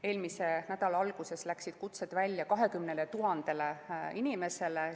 Eelmise nädala alguses läksid kutsed välja 20 000 inimesele.